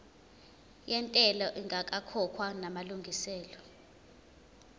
yentela ingakakhokhwa namalungiselo